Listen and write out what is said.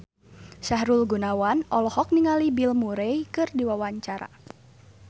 Sahrul Gunawan olohok ningali Bill Murray keur diwawancara